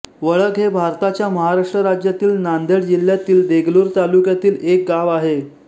वळग हे भारताच्या महाराष्ट्र राज्यातील नांदेड जिल्ह्यातील देगलूर तालुक्यातील एक गाव आहे